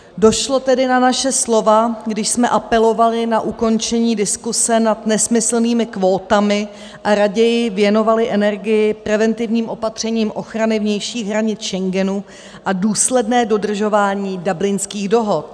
Došlo tedy na naše slova, když jsme apelovali na ukončení diskuse nad nesmyslnými kvótami a raději věnovali energii preventivním opatřením ochrany vnějších hranic Schengenu a důsledné dodržování Dublinských dohod.